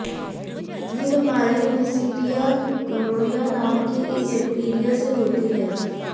ये बीमारी Neisseria gonorrhoeae नाम के एक बैक्टीरिया से होती है